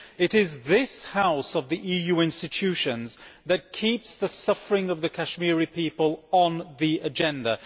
It is this House, out of the EU institutions, that keeps the suffering of the Kashmiri people on the agenda.